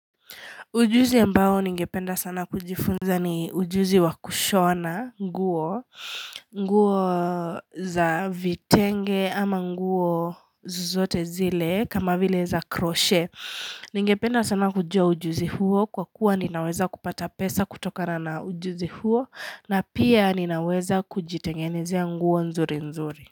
Ujuzi ambao ningependa sana kujifunza ni ujuzi wa kushona nguo, nguo za vitenge ama nguo zozote zile kama vile za kroshe. Ningependa sana kujua ujuzi huo kwa kuwa ninaweza kupata pesa kutokana na ujuzi huo na pia ninaweza kujitengenezea nguo nzuri nzuri.